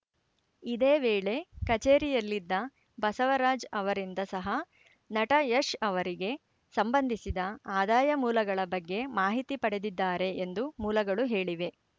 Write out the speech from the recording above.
ಇದೇ ವೇಳೆ ಕಚೇರಿಯಲ್ಲಿದ್ದ ಬಸವರಾಜ್‌ ಅವರಿಂದ ಸಹ ನಟ ಯಶ್‌ ಅವರಿಗೆ ಸಂಬಂಧಿಸಿದ ಆದಾಯ ಮೂಲಗಳ ಬಗ್ಗೆ ಮಾಹಿತಿ ಪಡೆದಿದ್ದಾರೆ ಎಂದು ಮೂಲಗಳು ಹೇಳಿವೆ